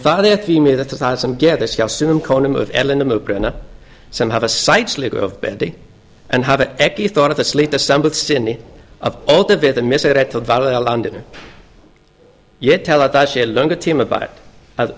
það er þó því miður það sem gerist hjá sumum konum af erlendum uppruna sem hafa sætt slíku ofbeldi en hafa ekki þorað að slíta sambúð sinni af ótta við að missa rétt til dvalar í landinu ég tel löngu tímabært að